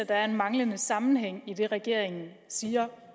der er en manglende sammenhæng i det regeringen siger